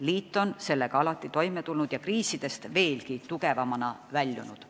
Liit on sellega alati toime tulnud ja kriisidest veelgi tugevamana väljunud.